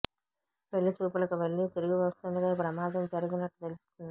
పెళ్లి చూపులకు వెళ్లి తిరిగి వస్తుండగా ఈ ప్రమాదం జరిగినట్టు తెలుస్తోంది